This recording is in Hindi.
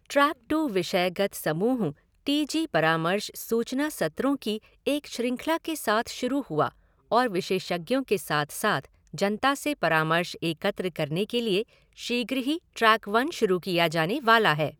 ट्रैक टू विषयगत समूह टी जी परामर्श सूचना सत्रों की एक श्रृंखला के साथ शुरू हुआ और विशेषज्ञों के साथ साथ जनता से परामर्श एकत्र करने के लिए शीघ्र ही ट्रैक वन शुरू किया जाने वाला है।